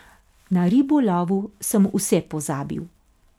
Na ribolovu sem vse pozabil.